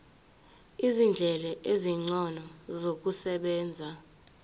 izindlela ezingcono zokusebenza